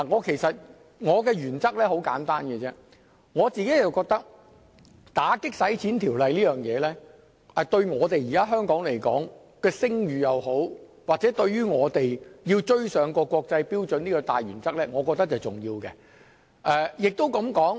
其實，我的原則很簡單，我覺得打擊洗錢的法例對現時香港的聲譽，又或對香港要追上國際標準等大原則是重要的。